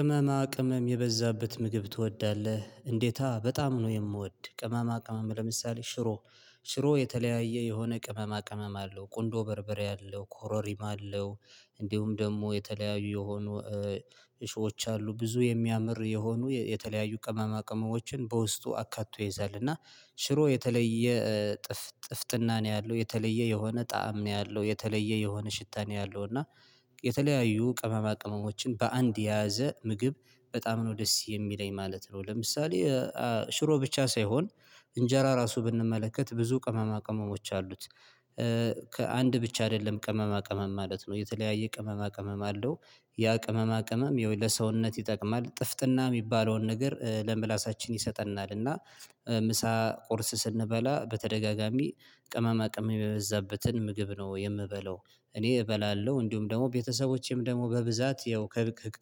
ቅመማ ቅመም የበዛበት ምግብ ትወዳለህ እንዴታ በጣም ነው የምወድ። ቅመማ ቅመም ለምሳሌ ሽሮ ሽሮ የተለያየ የሆነ ቅመማ ቅመም አለው ቁንዶ በርበሬ አለው ኮሮሪማ አለው እንዲሁም ደግሞ የተለያዩ የሆኑ እሾች አሉ ብዙ የሚያምር የሆኑ የተለያዩ ቅመማ ቅመሞችን በውስጡ አካቶ ይይዛልና። ሽሮ የተለየ ጥፍ ጥፍጥና ነው ያለው የተለየ የሆነ ጣዕም ነው ያለው የተለየ የሆነ ሽታ ነው ያለው እና የተለያዩ ቅመማ ቅመሞችን በአንድ የያዘ ምግብ በጣም ነው ደስ የሚለኝ ማለት ነው። ለምሳሌ ሽሮ ብቻ ሳይሆን እንጀራ ራሱ ብንመለከት ብዙ ቅመማ ቅመሞች አሉት። ከአንድ ብቻ አይደለም ቅመማ ቅመም ማለት ነው የተለያየ ቅመማ ቅመም አለው ያ ቅመማ ቅመም የሆነ ሰውነት ይጠቅማል ጥፍጥና የሚባለውን ነገር ለምላሳችን ይሰጠናልና። ምሳ ቁርስ ስንበላ በተደጋጋሚ ቅመማ ቅመም የበዛበትን ምግብ ነው የምበለው። እኔ እበላለሁ እንዲሁም ደግሞ ቤተሰቦቼም ደግሞ በብዛት ያው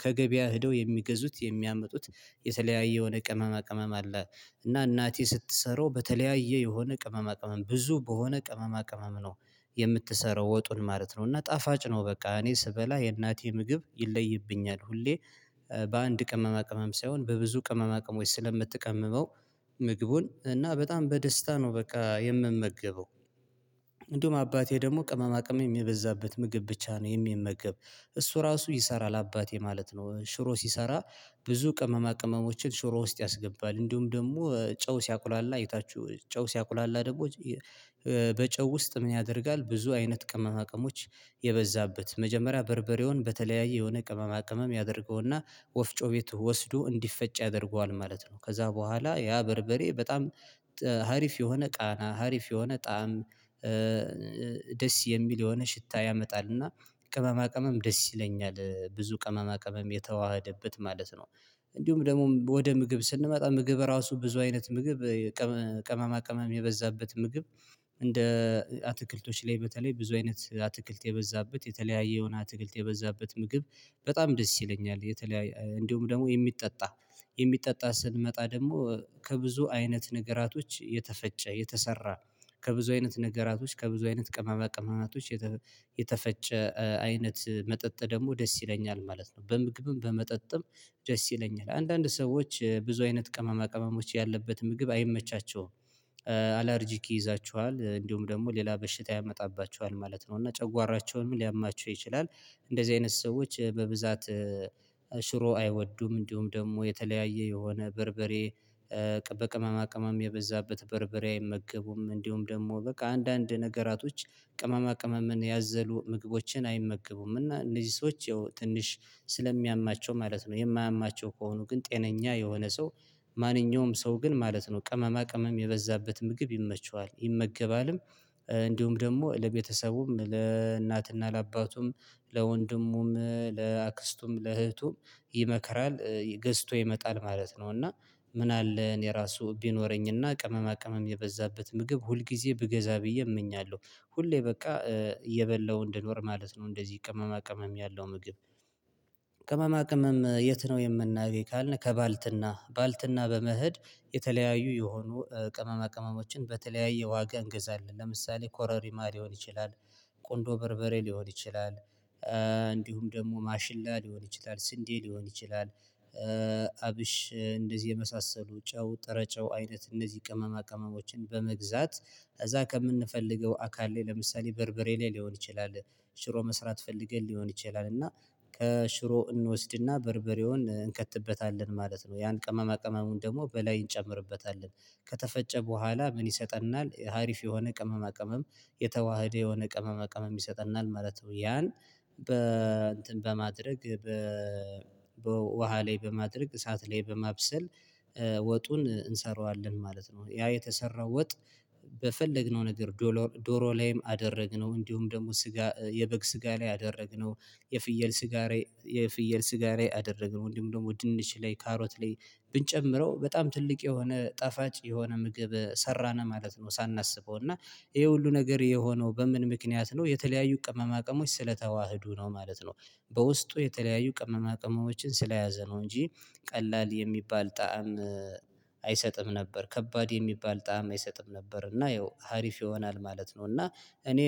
ከገበያ ሄደው የሚገዙት የሚያምጡት የተለያየ የሆነ ቅመማ ቅመም አለ። እና እናቴ ስትሰራው በተለያየ የሆነ ቅመማ ቅመም ብዙ በሆነ ቅመማ ቅመም ነው የምትሰራው ወጡን ማለት ነው። እና ጣፋጭ ነው በቃ እኔ ስበላ የእናቴ ምግብ ይለይብኛል ሁሌ በአንድ ቅመማ ቅመም ሳይሆን በብዙ ቅመማ ቅሞች ስለምትቀመመው ምግቡን እና በጣም በደስታ ነው በቃ የምመገበው። እንዲሁም አባቴ ደግሞ ቅመማ ቅመም የበዛበት ምግብ ብቻ ነው የሚመገብ እሱ ራሱ ይሰራል አባቴ ማለት ነው። ሽሮ ሲሰራ ብዙ ቅመማ ቅመሞችን ሽሮ ውስጥ ያስገባል እንዲሁም ደግሞ ጨው ሲያቁላላ እይታችሁ ጨው ሲያቁላላ ደግሞ በጨው ውስጥ ምን ያደርጋል? ብዙ አይነት ቅመማ አቅሞች የበዛበት መጀመሪያ በርበሬውን በተለያየ የሆነ ቅመማ ቅመም ያደርገውና ወፍጮ ቤቱ ወስዶ እንዲፈጭ ያደርገዋል ማለት ነው። ከዛ በኋላ ያ በርበሬ በጣም ሀሪፍ የሆነ ቃና ሀሪፍ የሆነ ጣዕም ደስ የሚል የሆነ ሽታ ያመጣልና። ቅመማ ቅመም ደስ ይለኛል ብዙ ቅመማ ቅመም የተዋሀደበት ማለት ነው። እንዲሁም ደግሞ ወደ ምግብ ስንመጣ ምግብ ራሱ ብዙ አይነት ምግብ ቅመማ ቅመም የበዛበት ምግብ እንደ አትክልቶች ላይ በተለይ ብዙ አይነት አትክልት የበዛበት የተለያየ የሆነ አትክልት የበዛበት ምግብ በጣም ደስ ይለኛል። እንደውም ደግሞ የሚጠጣ የሚጠጣ ስንመጣ ደግሞ ከብዙ አይነት ነገራቶች የተፈጨ የተሰራ ከብዙ አይነት ነገራቶች ከብዙ አይነት ቅማማ ቅመማቶች የተፈጨ አይነት መጠጥ ደግሞ ደስ ይለኛል ማለት ነው። በምግብም በመጠጥም ደስ ይለኛል አንዳንድ ሰዎች ብዙ አይነት ቀማማ ቀማሞች ያለበት ምግብ አይመቻቸውም። ይይዛቸዋል እንዲሁም ደግሞ ሌላ በሽታ ያመጣባቸዋል ማለት ነው እና ጨጓራቸውን ሊያማቸው ይችላል። እንደዚህ አይነት ሰዎች በብዛት ሽሮ አይወዱም እንዲሁም ደግሞ የተለያየ የሆነ በርበሬ በቅመማ ቅመም የበዛበት በርበሬ አይመገቡም። እንዲሁም ደግሞ በቃ አንዳንድ ነገራቶች ቅመማ ቅመምን ያዘሉ ምግቦችን አይመገቡም። እና እነዚህ ሰዎች ትንሽ ስለሚያማቸው ማለት ነው የማያማቸው ከሆኑ ግን ጤነኛ የሆነ ሰው ማንኛውም ሰው ግን ማለት ነው ቅመማ ቅመም የበዛበት ምግብ ይመቸዋል ይመገባልም። እንዲሁም ደግሞ ለቤተሰቡም ለእናትና ለአባቱም ለወንድሙም ለአክስቱም ለእህቱም ይመከራል ገዝቶ ይመጣል ማለት ነው። እና ምን አለ እኔ ራሱ ቢኖረኝና ቅመማ ቅመም የበዛበት ምግብ ሁል ጊዜ ብገዛ ብዬ እመኛለሁ። ሁሌ በቃ እየበላሁ እንድኖር ማለት ነው እንደዚህ ቅመማ ቅመም ያለው ምግብ። ቅመማ ቅመም የት ነው የምናገኝ ካልነህ? ከባልትና ባልትና በመሄድ የተለያዩ የሆኑ ቅመማ ቅመሞችን በተለያዩ ዋጋ እንግዛለን ለምሳሌ ኮረሪማ ሊሆን ይችላል ቁንዶ በርበሬ ሊሆን ይችላል እንዲሁም ደግሞ ማሽላ ሊሆን ይችላል ስንዴ ሊሆን ይችላል። አብሽ እንደዚህ የመሳሰሉ ጨው ጥረጨው አይነት እነዚህ ቅመማ ቅመሞችን በመግዛት ከዛ ከምንፈልገው አካል ላይ ለምሳሌ በርበሬ ላይ ሊሆን ይችላል። ሽሮ መስራት ፈልገን ሊሆን ይችላል እና ከሽሮ እንወስድና በርበሬውን እንከትበታለን ማለት ነው ያን ቅመማ ቅመሙን ደግሞ በላይ እንጨምርበታለን ከተፈጨ በኋላ ምን ይሰጠናል ሀሪፍ የሆነ ቅመማ ቅመም የተዋህደ የሆነ ቅመማ ቅመም ይሰጠናል ማለት ነው። ያን በ እንትን በማድረግ በ በውሃ ላይ በማድረግ እሳት ላይ በማብሰል ወጡን እንሰራዋለን ማለት ነው። ያ የተሰራው ወጥ በፈለግነው ነገር ዶሎ ዶሮ ላይም አደረግነው እንዲሁም ደግሞ ስጋ የበግ ስጋ ላይ አደረግነው የፍየል ስጋ የፍየል ስጋ ላይ አደረግነው እንዲሁም ደግሞ ድንች ላይ ካሮት ላይ ብንጨምረው በጣም ትልቅ የሆነ ጣፋጭ የሆነ ምግብ ሰራነ ማለት ነው። ሳናስበው እና ይሄ ሁሉ ነገር የሆነው በምን ምክንያት ነው የተለያዩ ቅመማ ቅመሞች ስለተዋህዱ ነው ማለት ነው። በውስጡ የተለያዩ ቅመማ ቅመሞችን ስለያዘ ነው እንጂ ቀላል የሚባል ጣዕም አይሰጥም ነበር ከባድ የሚባል ጣዕም አይሰጥም ነበር እና ያው ሀሪፍ ይሆናል ማለት ነው። እና እኔ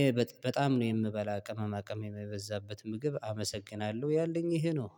በጣም ነው የምበላ ቅመማ ቅመም የምበዛበት ምግብ አመሰግናለሁ ያለኝ ይሄ ነው።